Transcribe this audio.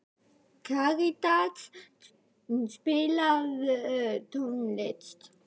Karítas, spilaðu tónlist.